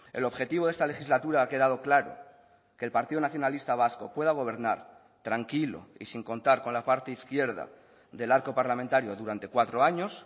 el objetivo de esta legislatura ha quedado claro que el partido nacionalista vasco pueda gobernar tranquilo y sin contar con la parte izquierda del arco parlamentario durante cuatro años